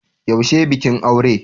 Yaushe bikin aure?